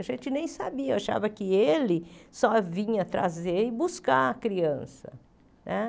A gente nem sabia, achava que ele só vinha trazer e buscar a criança né.